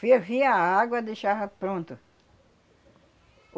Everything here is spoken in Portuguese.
Fervia a água, deixava pronto.